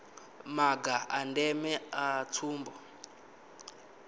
maga a ndeme a tsumbo